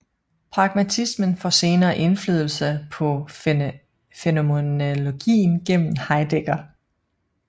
Pragmatismen får senere indflydelse på fænomenologien gennem Heidegger